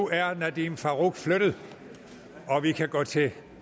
er nadeem farooq flyttet og vi kan gå til